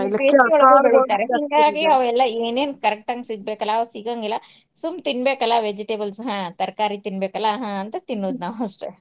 ಏನೇನ್ correct ಆಗಿ ಸಿಗ್ಬೇಕಲ್ಲಾ, ಅವಾಗ್ ಸಿಗಂಗಿಲ್ಲಾ ಸುಮ್ ತಿನ್ಬೇಕಲ್ಲ vegetables ಹಾ ತರಕಾರಿ ತಿನ್ಬೇಕಲ್ಲ ಹ ಅಂತ ತಿನ್ನುದ್ ನಾವ್ ಅಷ್ಟ.